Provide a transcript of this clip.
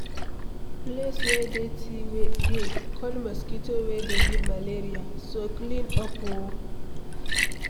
Place wey dirty dey call mosquito wey dey give malaria, so clean up oo